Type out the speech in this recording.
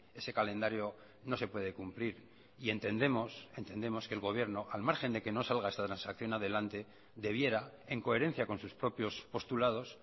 ese calendario no se puede cumplir y entendemos entendemos que el gobierno al margen de que no salga esta transacción adelante debiera en coherencia con sus propios postulados